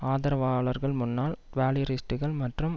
ஆதரவாளர்கள் முன்னாள் டுவாலியரிஸ்ட்டுகள் மற்றும்